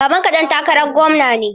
Babanka ɗan takarar gwamna ne?